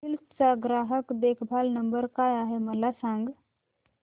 hills चा ग्राहक देखभाल नंबर काय आहे मला सांग